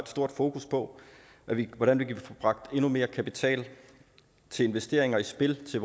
stort fokus på hvordan vi kan få bragt endnu mere kapital til investeringer i spil til